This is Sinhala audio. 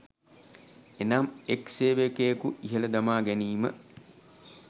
එනම් එක් සේවකයෙකු ඉහල දමාගැනීම